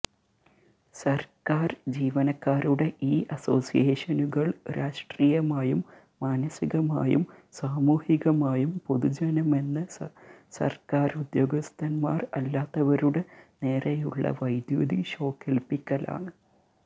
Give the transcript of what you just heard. സര്ക്കാര് ജീവനക്കാരുടെ ഈ അസോസിയേഷനുകള് രാഷ്ട്രീയമായും മാനസികമായും സാമൂഹികമായും പൊതുജനമെന്ന സര്ക്കാരുദ്യോഗസ്ഥന്മാര് അല്ലാത്തവരുടെ നേരെയുള്ള വൈദ്യുതി ഷോക്കേല്പ്പിക്കലാണ്